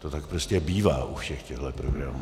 To tak prostě bývá u všech těchto programů.